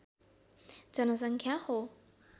जनसङ्ख्या हो